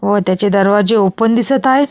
व त्याचे दरवाजे ओपेन दिसत आहेत.